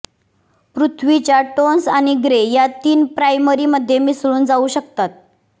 पृथ्वीच्या टोन्स आणि ग्रे या तीन प्राइमरीमध्ये मिसळून जाऊ शकतात